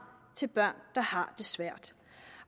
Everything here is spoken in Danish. til børn der har det svært